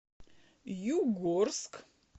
югорск